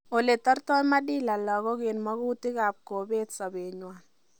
Ole tortai madhila lagok en magokutik ab kobet sobet nywon